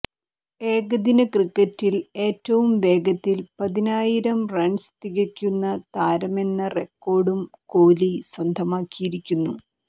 ഏകദിനക്രിക്കറ്റിൽ ഏറ്റവും വേഗത്തിൽ പതിനായിരം റൺസ് തികയ്ക്കുന്ന താരമെന്ന റെക്കോഡും കോലി സ്വന്തമാക്കിയിരുന്നു